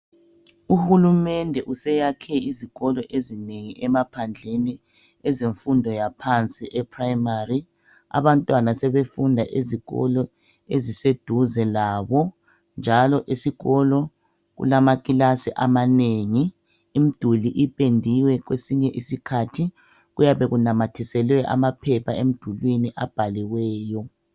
Uhulumende useyakhe izikolo ezinengi emaphandleni ezemfundo yaphansi ePrimary abantwana sebefunda ezikolo eziseduze labo njalo esikolo kulamakilasi amanengi imiduli ipendiwe kwesinye isikhathi kuyabe kunamathiselwe amaphepha emdulwini abhaliweyo